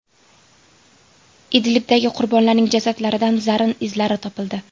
Idlibdagi qurbonlarning jasadlaridan zarin izlari topildi.